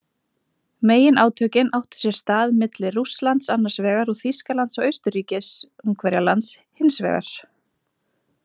Meginátökin áttu sér stað milli Rússlands annars vegar og Þýskalands og Austurríkis-Ungverjalands hins vegar.